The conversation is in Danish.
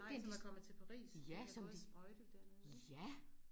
Nej som er kommet til Paris. De har gået og sprøjtet dernede